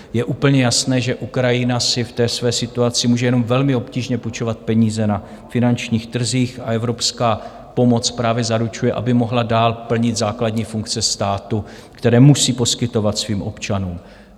Je úplně jasné, že Ukrajina si v té své situaci může jenom velmi obtížně půjčovat peníze na finančních trzích a evropská pomoc právě zaručuje, aby mohla dál plnit základní funkce státu, které musí poskytovat svým občanům.